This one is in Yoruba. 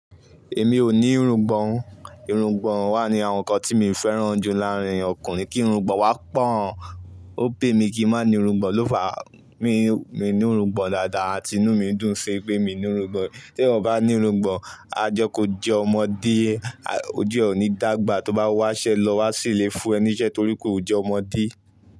Èmi ò ní irungbọ̀n. Irungbọ̀n wà ní àwọn ǹkan tí mi féràn jù láàárín ọkùnrin. Kí irungbọ̀n wá pọ̀o. Ó pay mí kí n má ní irungbọ̀n, lófàá mi ní irungbọ̀n dáadáa àti inú mi dún ṣi pé mí ní irungbọ̀n. Tí ẹyan o bá ní irungbọ̀n, ajé kò jẹ ọmọdé, oju e ò ní dàgbà, tó bá wáṣẹ́ lọ, wá sì le fún ẹ níṣẹ́ torí pé o jẹ́ ọmọdé.